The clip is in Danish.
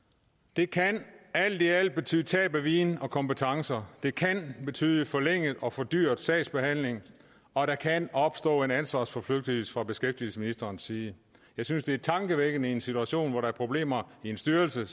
det kan alt i alt betyde tab af viden og kompetencer det kan betyde forlænget og fordyret sagsbehandling og der kan opstå en ansvarsforflygtigelse fra beskæftigelsesministerens side jeg synes det er tankevækkende i en situation hvor der er problemer i en styrelse